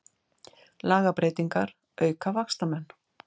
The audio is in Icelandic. Lagabreytingar auka vaxtamun